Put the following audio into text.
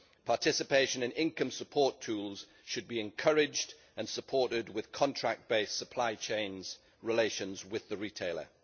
Participation in income support tools should be encouraged and supported with contract based supply chain relations with the retailer.